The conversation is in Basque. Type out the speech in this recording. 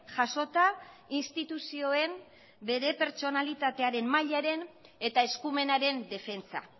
jasota instituzioen bere pertsonalitatearen mailaren eta eskumenaren defentsa